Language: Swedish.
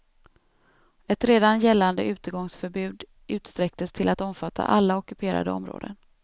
Ett redan gällande utegångsförbud utsträcktes till att omfatta alla ockuperade områden.